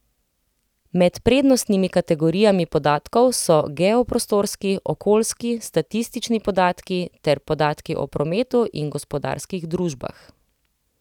Med prednostnimi kategorijami podatkov so geoprostorski, okoljski, statistični podatki ter podatki o prometu in gospodarskih družbah.